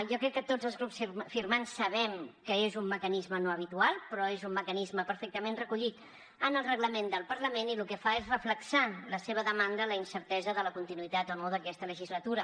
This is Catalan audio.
jo crec que tots els grups firmants sabem que és un mecanisme no habitual però és un mecanisme perfectament recollit en el reglament del parlament i el que fa és reflectir la seva demanda a la incertesa de la continuïtat o no d’aquesta legislatura